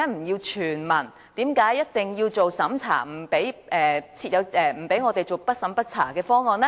為何一定要審查，不准採用"不審不查"的方案呢？